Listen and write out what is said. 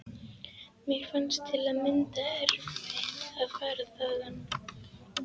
Mér fannst til að mynda erfitt að fara þaðan.